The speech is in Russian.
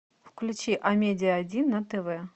включи амедиа один на тв